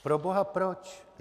Proboha proč?